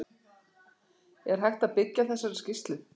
Er hægt að byggja á þessari skýrslu?